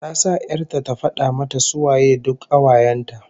Ta sa 'yar ta ta fada mata ko su waye duk kawayen ta